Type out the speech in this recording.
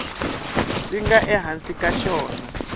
swi nga ehansi ka xona